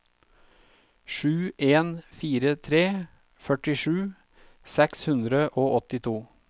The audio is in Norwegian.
sju en fire tre førtisju seks hundre og åttito